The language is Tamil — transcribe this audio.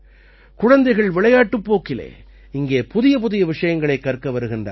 குழந்தைகள் விளையாட்டுப் போக்கிலே இங்கே புதியபுதிய விஷயங்களைக் கற்க வருகின்றார்கள்